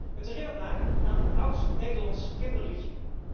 Het herinnert mij aan een oud Nederlands kinderliedje.